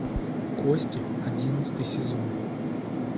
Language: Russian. кости одиннадцатый сезон